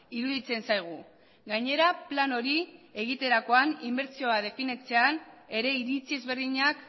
iruditzen zaigu gainera plan hori egiterakoan inbertsioa definitzean ere iritzi ezberdinak